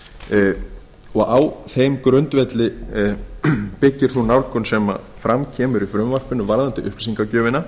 skólastiga og á þeim grundvelli byggir sú nálgun sem fram kemur í frumvarpinu varðandi upplýsingagjöfina